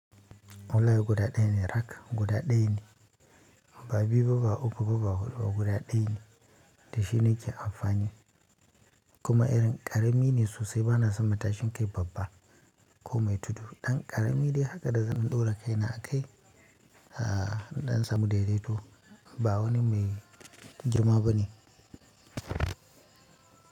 Wallahi guda daya ne rak guda daya ne ba biyu ba ba uku ba ba hudu ba guda daya ne dashi nake amfani kuma irin ƙarami ne sosai bana son matashin kai babba ko mai tudu. Ɗan ƙarami dai haka da zan ɗora kai na a kai, aa dan in samu daidaito ba wani mai girma ba ne.